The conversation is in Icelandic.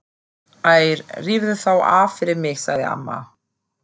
Æ rífðu þá af fyrir mig sagði amma.